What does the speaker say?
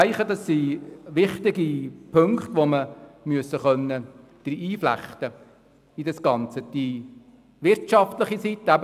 Ich denke, dass dies wichtige Punkte sind, die wir in das Gesetz aufnehmen mussten.